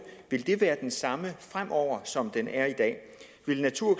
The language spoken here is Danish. være den samme fremover som den er i dag vil natur og